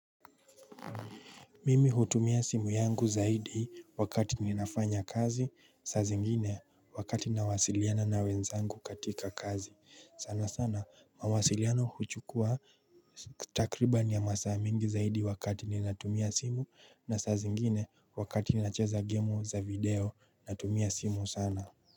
Mimi hutumia simu yangu zaidi wakati ninafanya kazi sa zingine wakati nawasiliana na wenzangu katika kazi sana sana mawasiliano huchukua takribani ya masa mingi zaidi wakati nina tumia simu na saa zingine wakati ninacheza gemu za video na tumia simu sana.